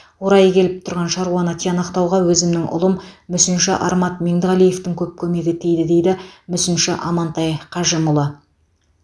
орайы келіп тұрған шаруаны тиянақтауға өзімнің ұлым мүсінші армат меңдіғалиевтің көп көмегі тиді дейді мүсінші амантай қажимұлы